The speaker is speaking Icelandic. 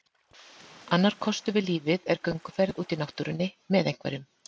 Annar kostur við lífið er gönguferð úti í náttúrunni, með einhverjum.